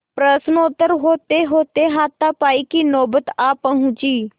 प्रश्नोत्तर होतेहोते हाथापाई की नौबत आ पहुँची